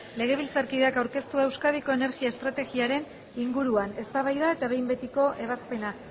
legebiltzarkideak aurkeztua euskadiko energia estrategiaren inguruan eztabaida eta behin betiko ebazpena